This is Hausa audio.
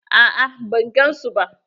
A'a ban gan su ba.